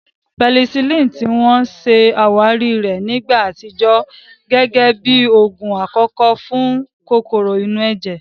Pẹsilínìì, ti wọ́n ṣe àwárí rẹ̀ ní ìgbà àtijọ́, gẹ́gẹ́ bí oògùn àkọ́kọ́ fún kòkòrò inú ẹ̀jẹ̀